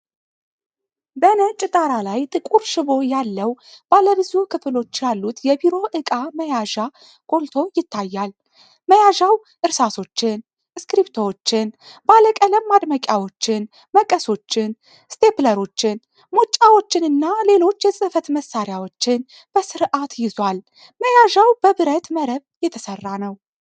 በነጭ ዳራ ላይ ጥቁር ሽቦ ያለው ባለብዙ ክፍሎች ያሉት የቢሮ ዕቃ መያዣ ጎልቶ ይታያል። መያዣው እርሳሶችን፣ እስክሪብቶዎችን፣ ባለቀለም ማድመቂያዎችን፣ መቀሶችን፣ ስቴፕለሮችን፣ ሙጫዎችንና ሌሎች የጽህፈት መሳሪያዎችን በስርዓት ይዟል። መያዣው በብረት መረብ የተሠራ ነው።